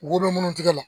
Wo bɛ munnu tigɛ la